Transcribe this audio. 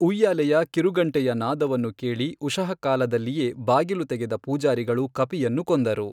ಉಯ್ಯಾಲೆಯ ಕಿರುಗಂಟೆಯ ನಾದವನ್ನು ಕೇಳಿ ಉಷಃಕಾಲದಲ್ಲಿಯೇ ಬಾಗಿಲು ತೆಗೆದ ಪೂಜಾರಿಗಳು ಕಪಿಯನ್ನು ಕೊಂದರು.